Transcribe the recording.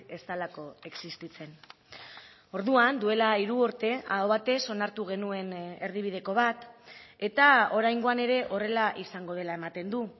ez delako existitzen orduan duela hiru urte aho batez onartu genuen erdibideko bat eta oraingoan ere horrela izango dela ematen du